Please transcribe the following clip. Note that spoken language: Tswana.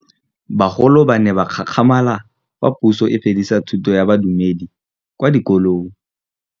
Bagolo ba ne ba gakgamala fa Pusô e fedisa thutô ya Bodumedi kwa dikolong.